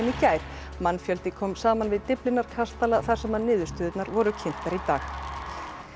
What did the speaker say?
gær mannfjöldi kom saman við Dyflinnar kastala þar sem niðurstöðurnar voru kynntar í dag